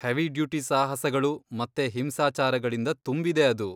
Heavy duty ಸಾಹಸಗಳು ಮತ್ತೆ ಹಿಂಸಾಚಾರಗಳಿಂದ ತುಂಬಿದೆ ಅದು.